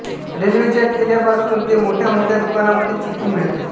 रेल्वेच्या ठेल्यापासून ते मोठ्या मोठ्या दुकानामध्ये चिक्की मिळते